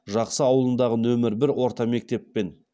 жақсы ауылындағы нөмір бір орта мектептен